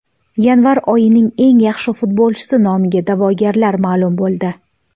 Yanvar oyining eng yaxshi futbolchisi nomiga da’vogarlar ma’lum bo‘ldi.